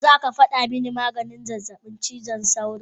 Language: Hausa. Ko zaka fada mani maganin zazzabin cizon sauro?